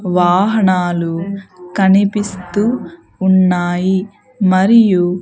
వాహనాలు కనిపిస్తూ ఉన్నాయి మరియు.